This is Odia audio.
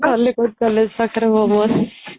ଖଲିକୋଟ College ପାଖରେ momos